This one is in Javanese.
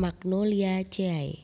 Magnoliaceae